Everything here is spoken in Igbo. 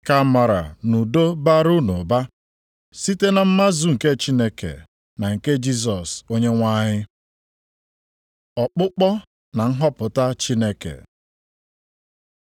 Ka amara na udo bara unu ụba, site na mmazu nke Chineke na nke Jisọs Onyenwe anyị. Ọkpụkpọ na nhọpụta Chineke